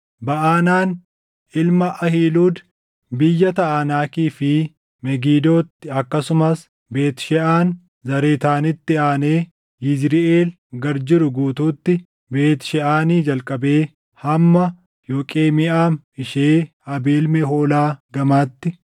Baʼanaan ilma Ahiiluud, biyya Taʼanaakii fi Megidootti akkasumas Beet Sheʼaan Zaaretaanitti aanee Yizriʼeel gad jiru guutuutti, Beet Sheʼaanii jalqabee hamma Yoqemiʼaam ishee Abeel Mehoolaa gamatti;